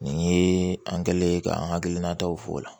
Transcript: Nin ye an kɛlen ye k'an hakilinataw fɔ o la